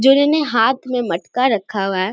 जिन्होंने हाथ मे मटका रखा हुआ है।